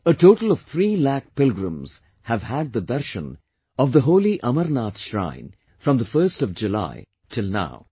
A total of 3 lakh pilgrims have had the darshan of the holy Amarnath shrine from 1st July till now